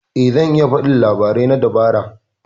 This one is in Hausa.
Eh zan iya faɗi labarai na dabara.